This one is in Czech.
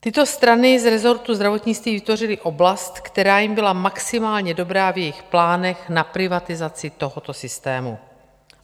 Tyto strany z resortu zdravotnictví vytvořily oblast, která jim byla maximálně dobrá v jejich plánech na privatizaci tohoto systému.